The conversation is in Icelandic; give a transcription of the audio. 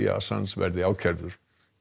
að Assange verði ákærður